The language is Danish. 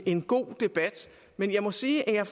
en god debat men jeg må sige at jeg